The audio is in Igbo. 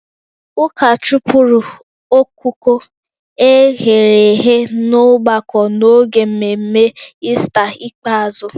Ụka chụpụrụ ọkụkọ e ghere eghe n'ọgbakọ n'oge mmemme Ista ikpeazụ